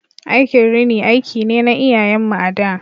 Aikin rini aiki ne na iyayen mu a da.